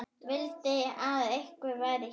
Vildi að einhver væri hér.